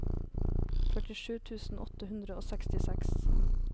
førtisju tusen åtte hundre og sekstiseks